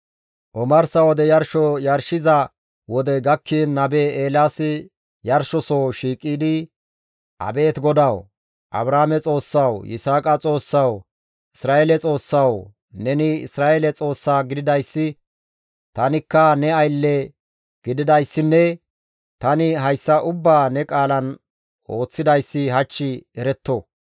Omarsa wode yarsho shiishshiza wodey gakkiin nabe Eelaasi yarshosoho shiiqidi, «Abeet GODAWU! Abrahaame Xoossawu, Yisaaqa Xoossawu, Isra7eele Xoossawu, neni Isra7eele Xoossa gididayssi, tanikka ne aylle gididayssinne tani hayssa ubbaa ne qaalan ooththidayssi hach eretto.